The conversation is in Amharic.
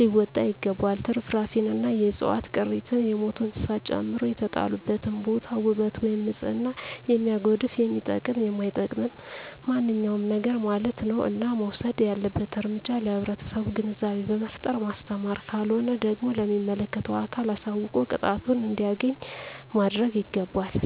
ሊወጣ ይገባል ትርፍራፊንእና የዕፅዋት ቅሪትን የሞቱ እንስሳትን ጨምሮ የተጣለበትን ቦታ ዉበት ወይም ንፅህናን የሚያጎድፍ የሚጠቅምም የማይጠቅምም ማንኛዉም ነገርማለት ነዉ እና መወሰድ ያለበት እርምጃ ለህብረተሰቡ ግንዛቤ በመፍጠር ማስተማር ካልሆነ ደግሞ ለሚመለከተዉ አካል አሳዉቆ ቅጣቱን እንዲያገኝ ማድረግይገባል